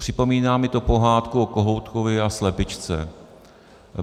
Připomíná mi to pohádku o kohoutkovi a slepičce.